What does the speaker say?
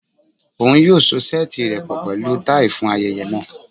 Oun yoo so seeti rẹ pọ pẹlu tai fun ayẹyẹ naa